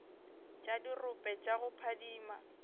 tša dirope tša go phadima